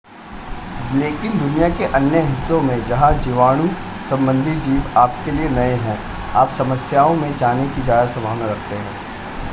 लेकिन दुनिया के अन्य हिस्सों में जहां जीवाणु संबंधी जीव आपके लिए नए हैं आप समस्याओं में जाने की ज़्यादा संभावना रखते हैं